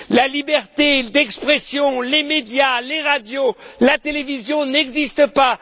La liberté d'expression, les médias, les radios, la télévision n'existent pas.